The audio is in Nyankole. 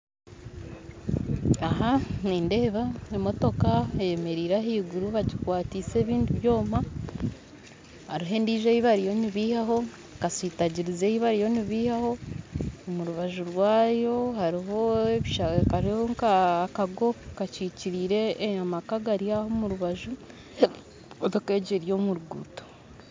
Aha nindeeba emotoka eyemereire ahaiguru bagikwatise ebindi byooma aruho endijo eyibariyo nibeihaho kasitagirizi eyibariyo nibeihaho omurubaju rwayo hariho nka akago kakyikyirire amaka agaryaho omurubaju motoka egi eri omurugutto.